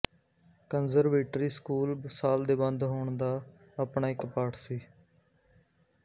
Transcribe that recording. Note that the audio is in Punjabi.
ਕੰਜ਼ਰਵੇਟਰੀ ਸਕੂਲ ਸਾਲ ਦੇ ਬੰਦ ਹੋਣ ਦਾ ਆਪਣਾ ਇੱਕ ਪਾਠ ਸੀ